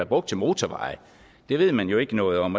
brugt til motorveje det ved man jo ikke noget om